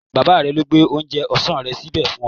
Bàbá rẹ̀ ló gbé oúnjẹ ọ̀sán rẹ̀ síbẹ̀ fún un